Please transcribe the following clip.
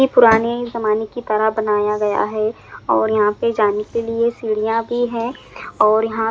ये पुराने ज़माने की तरह बनाया गया है और यहाँ पे जाने के लिए सीढ़ियाँ भी हैं और यहाँ--